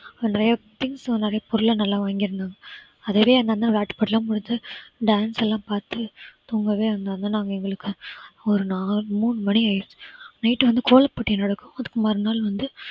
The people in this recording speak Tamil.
நிறைய friends எல்லாம் நிறைய பொருள் எல்லாம் வாங்கி இருந்தாங்க. அதுவே அங்கு உள்ள விளையாட்டுப் போட்டி எல்லாம் முடிச்சு dance எல்லாம் பார்த்து தூங்கவே எங்களுக்கு ஒரு நாலு மூணு மணி ஆயிடுச்சு night வந்து கோலம் போட்டி நடக்கும். அதுக்கு மறுநாள் வந்து